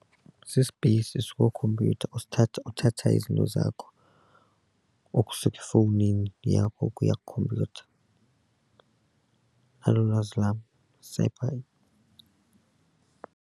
Sispeyisi esikwikhompyutha osithatha uthatha izinto zakho ukusuka efowunini yakho ukuya kwikhompyutha nalo ulwazi lam sepha.